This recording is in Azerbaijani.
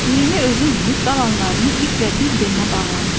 Birini özü minib, qalanlarını iplə bir-birinə bağlamışdı.